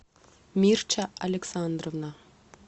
мирча александровна